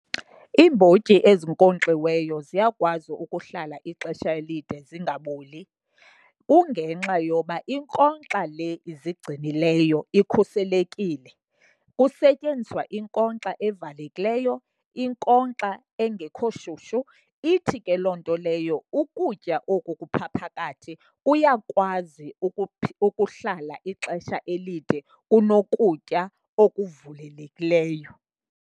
Iimbotyi ezinkonkxiweyo ziyakwazi ukuhlala ixesha elide zingaboli, kungenxa yoba inkonkxa le izigcinileyo ikhuselekile. Kusetyenziswa inkonkxa evalekileyo, inkonkxa engekho shushu, ithi ke loo nto leyo ukutya oku kupha phakathi kuyakwazi ukuhlala ixesha elide kunokutya okuvulelekileyo.